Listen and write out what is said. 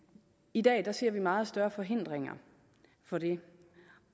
i dag ser vi meget større forhindringer for det